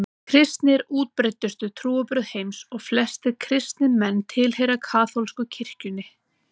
Kristni er útbreiddustu trúarbrögð heims og flestir kristnir menn tilheyra kaþólsku kirkjunni.